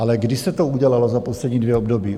Ale kdy se to udělalo za poslední dvě období?